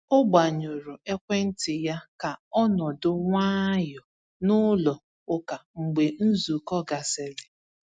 O gbanyụrụ ekwentị ya ka ọ nọdụ nwayọ n’ụlọ ụka mgbe nzukọ gasịrị.